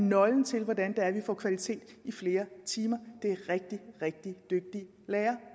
nøglen til hvordan vi får kvalitet i flere timer er rigtig rigtig dygtige lærere